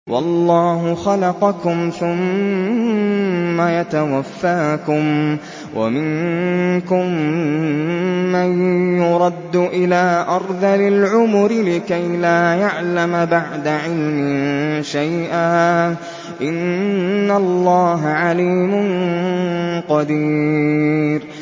وَاللَّهُ خَلَقَكُمْ ثُمَّ يَتَوَفَّاكُمْ ۚ وَمِنكُم مَّن يُرَدُّ إِلَىٰ أَرْذَلِ الْعُمُرِ لِكَيْ لَا يَعْلَمَ بَعْدَ عِلْمٍ شَيْئًا ۚ إِنَّ اللَّهَ عَلِيمٌ قَدِيرٌ